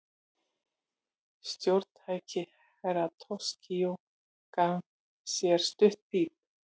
Stjórntæki Herra Toshizo gaf frá sér stutt píp.